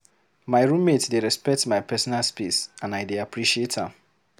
My roommate dey respect my personal space, and I dey appreciate am.